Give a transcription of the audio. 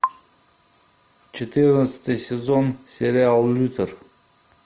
четырнадцатый сезон сериал лютер